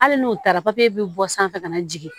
Hali n'u taara bɛ bɔ sanfɛ ka na jigin